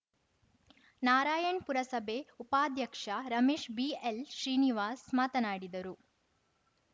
ನಾರಾಯಣ್‌ ಪುರಸಭೆ ಉಪಾಧ್ಯಕ್ಷ ರಮೇಶ್‌ ಬಿಎಲ್‌ ಶ್ರೀನಿವಾಸ್‌ ಮಾತನಾಡಿದರು